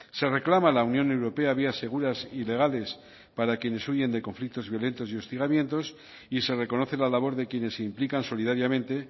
se reclama a la unión europea vías seguras y legales para quienes huyen de conflictos violentos y hostigamientos y se reconoce la labor de quienes se implican solidariamente